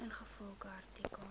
ingevolge artikel